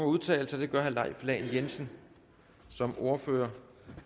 udtale sig det gør herre leif lahn jensen som ordfører